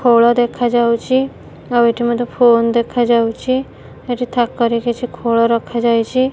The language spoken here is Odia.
ଖୋଳ ଦେଖାଯାଉଚି। ଆଉ ଏଠି ଗୋଟେ ଫୋନ୍ ଦେଖାଯାଉଛି। ଏଠି ଥାକରେ କିଛି ଖୋଳ ରଖାଯାଇଚି।